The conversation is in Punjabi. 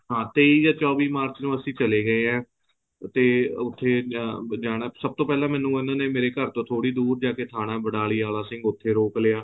ਹਾਂ ਤੇਈ ਜਾਂ ਚੋਵੀਂ ਅਸੀਂ ਚਲੇ ਗਏ ਹੈ ਤੇ ਉੱਥੇ ਜਾਣਾ ਸਭ ਤੋਂ ਪਹਿਲਾ ਉਹਨਾ ਨੇ ਮੈਨੂੰ ਘਰ ਤੋਂ ਥੋੜੀ ਦੂਰ ਜਾਕੇ ਥਾਣਾ ਬਣਾਲੀ ਵਾਲਾ ਸਿੰਘ ਉੱਥੇ ਰੋਕ ਲਿਆ